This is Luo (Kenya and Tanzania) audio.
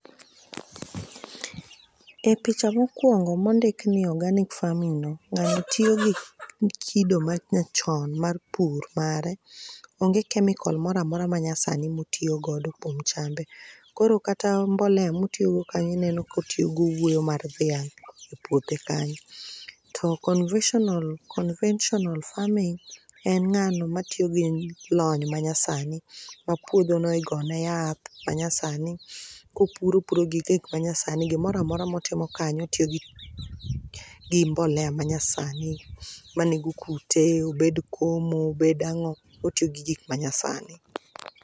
E picha mokwongo mondik ni organic farming no, ng'ano tiyo gi kido manyachon mar pur ,mare. Onge kemikol mora mora ma nyasani motiyo godo kuom chambe. Koro kata mbolea motiyogo kanyo ineno ka otiyo gi owuoyo mar dhiang' e puothe kanyo. To conventional farming, en ng'ano matiyo gi lony manyasani, ma puodhono igone yath manyasani, kopuro, opuro gi gik manyasani. Gimora mora motimo kanyo, otiyo gi mbolea manyasani, manego kute, obed komo, obed ang'o, otiyo gi gik manyasani.